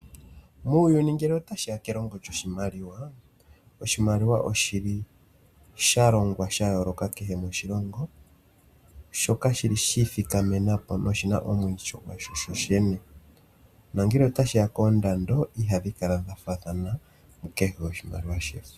Muuyuni ngele ta shiya kelongo lyoshimaliwa. Oshimaliwa oshili sha longwa sha yooloka kehe moshilongo, shoka shili shii thikamenapo na oshina eityo lyasho sho shene, nongele ta shiya koondando ihadhi kala dha faathana mu kehe oshimaliwa shefo.